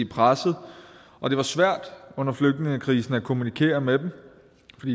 presset og det var svært under flygtningekrisen at kommunikere med og